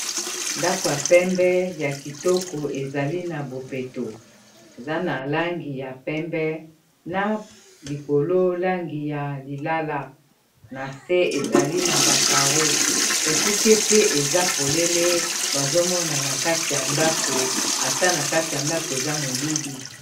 ndako ya pembe ya kitoko ezali na bopeto eza na langi ya pembe na likololangi ya lilala na se ezali na bacaro ekuke pe eza polele bazomona na kati ya ndako ata na kati ya ndako eza molili